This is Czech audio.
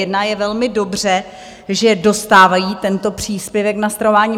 Je velmi dobře, že dostávají tento příspěvek na stravování.